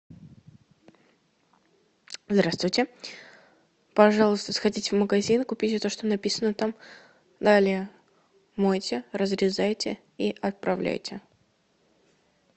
здравствуйте пожалуйста сходите в магазин купите то что написано там далее мойте разрезайте и отправляйте